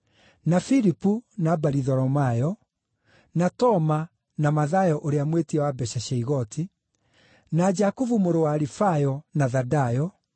na Filipu, na Baritholomayo; na Toma, na Mathayo ũrĩa mwĩtia wa mbeeca cia igooti; na Jakubu mũrũ wa Alifayo, na Thadayo;